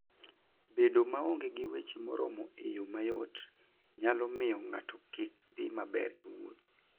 Bedo maonge gi weche moromo e yo mayot, nyalo miyo ng'ato kik dhi maber e wuoth.